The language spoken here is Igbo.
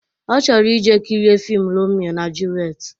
Ọ chọrọ ije kirie fiim Romio na Julet